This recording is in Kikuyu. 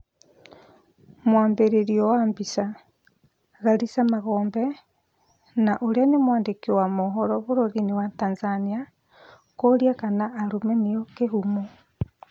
Mwambĩrĩrio wa mbica, Karisa Magombe na ũrĩa nĩ mwandĩki wa mohoro bũrũri-inĩ wa Tanzania kũũria kana arũme nĩo kĩhumo